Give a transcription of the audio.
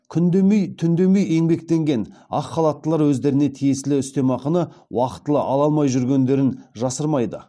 күн демей түн демей еңбектенген ақ халаттылар өздеріне тиесілі үстемақыны уақытылы ала алмай жүргендерін жасырмайды